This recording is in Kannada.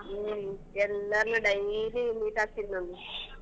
ಹ್ಮ್ ಎಲ್ಲರ್ನು daily meet ಅಗ್ತೀನಿ .